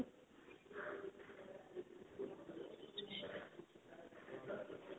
ਕਾਫੀ ਕੁਝ.